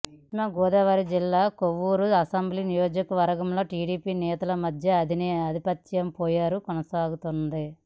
పశ్చిమగోదావరి జిల్లా కొవ్వూరు అసెంబ్లీ నియోజకవర్గంలో టిడిపి నేతల మధ్య ఆధిపత్యపోరు కొనసాగుతోంది